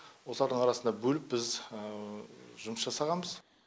осылардың арасында бөліп біз жұмыс жасағанбыз